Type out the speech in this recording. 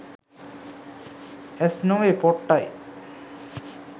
ඇස් නොවේ පොට්ටයි.